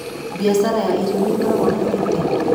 Mbiacara ya irio nĩĩkoragwo na bainda?